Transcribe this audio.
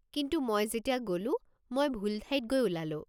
কিন্তু মই যেতিয়া গ'লো মই ভুল ঠাইত গৈ ওলালো।